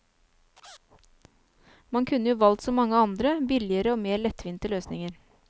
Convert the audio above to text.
Man kunne jo valgt så mange andre, billigere og mer lettvinte løsninger.